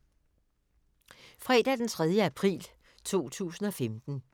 Fredag d. 3. april 2015